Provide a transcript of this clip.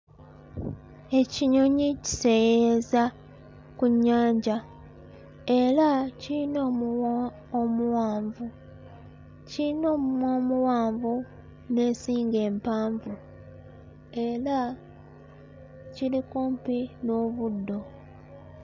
Ekinonyi kiseeyeeyeza ku nnyanja era kiyina omuwa omuwanvu kiyina omumwa omuwanvu n'ensigo empanvu era kiri kumpi n'obuddo.